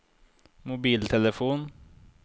mobiltelefon